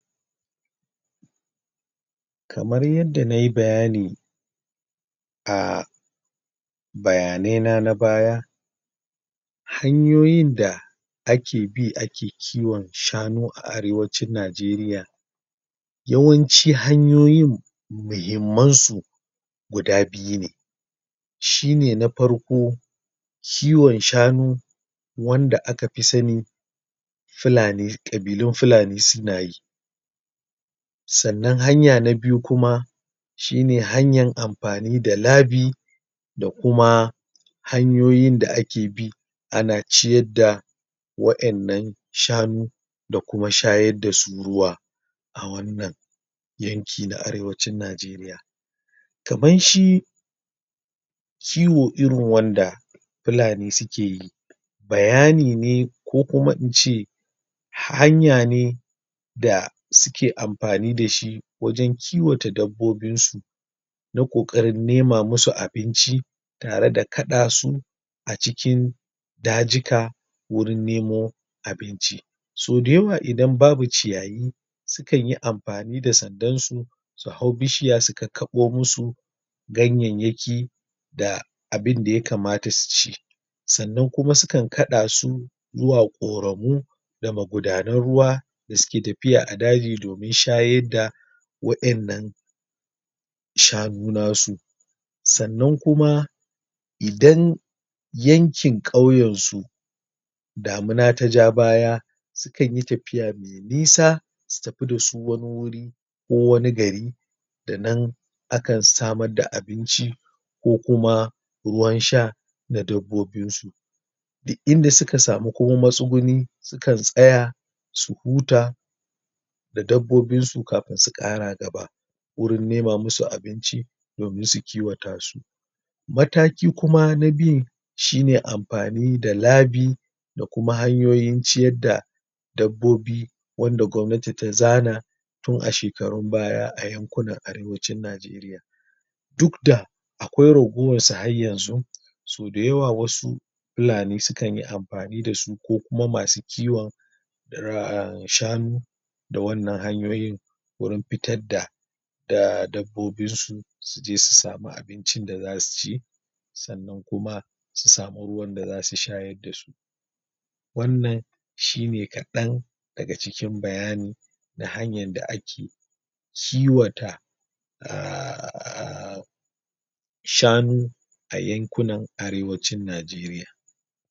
kamar yanda nayi bayani a bayanai na nabaya hanyoyin da ake bi ake kiwon shanu a Arewacin Nigeria yawanci hanyoyin muhimman su guda biyu ne shine na farko kiwon shanu wanda akafi sani fulani kabilun fulani suna yi sa'anan hanya na biyu kuma shine hanyan amfanida labi da kuma hanyoyin da ake bi ana ciyarda wa iyannan shanu da kuma shayar da su ruwa a wannan yanki na Arewacin Nigeria (????) kiwo irin wanda fulani suke yi bayani ne ko kuma ince hanya ne da suke amfani dashi wajan kiwata dabbobinsu na kokarin nema musu abinci tare da kada su acikin dajika wurin nemo abinci sau dayawa idan babu ciyayi sukan yi amfani da sandarsu su hau bishiya su kakkabo musu ganyayyaki da abinda ya kamata suci sa'anan kuma sukan kada su zuwa koragu da magudanar ruwa dasuke tafiya a daji domin shayarda waiyannan shanu nasu sa'anan kuma idan yankin kauyansu damina taja baya sukanyi tafiya me nisa su tafi dasu wani wuri ko wani gari da nan akan samarda abinci ko kuma ruwan sha na dabbobinsu duk inda suka samu ko masuguni sukan tsaya su huta da dabbabinsu kafain su kara gaba wurin nema musu abinci domin su kiwata su mataki kuma na biyun shine amfani da labi da kuma hanyoyin ciyarda dabbobi wanda gwanati ta zana tun a shekarun baya a yankunan Arewacin Nigeria duk da akwai ragowarsu har yanzu so dayawa wasu fulani sukanyi amfani dasu ko kuma masu kiwon (raaa) shanu da wannan hanyoyin wurin fitarda da dabbobinsu suje su samar abincin da zasu ci sa'anan kuma su samu ruwanda zasu shayar dasu wannan shi ne kadan daga cikin bayani da hanyar da ake kiwata (??????????????????) shanu ayankunan Arewacin Nigeria